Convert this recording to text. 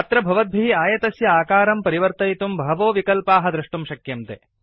अत्र भवद्भिः आयतस्य आकारं परिवर्तयितुं बहवो विकल्पाः द्रष्टुं शक्यन्ते